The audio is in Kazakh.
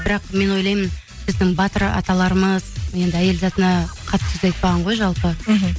бірақ мен ойлаймын біздің батыр аталарымыз енді әйел затына қатты сөз айтпаған ғой жалпы мхм